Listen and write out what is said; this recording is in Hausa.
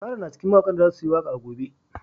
Sarah na cikin mawakan da za su yi waka a gobe.